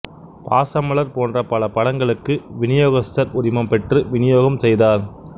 பாசமலர் போன்ற பல படங்களுக்கு விநியோகஸ்தர் உரிமம் பெற்று விநியோகம் செய்தார்